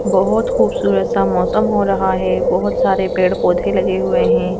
बहुत खूबसूरत सा मौसम हो रहा है बहुत सारे पेड़-पौधे लगे हुए हैं।